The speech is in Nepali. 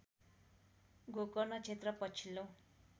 गोकर्ण क्षेत्र पछिल्लो